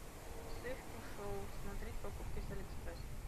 сливки шоу смотреть покупки с алиэкспресс